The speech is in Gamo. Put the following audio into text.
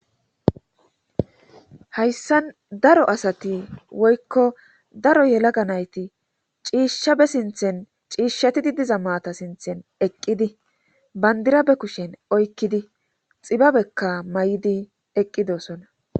Hayssan daro asati woykko daro yelaga nayti ciishshabe sinthen ciishshatidi diza maata sinthen eqqidi bandirabe kushen oykkidi xibabekka may'idi eqqidosona.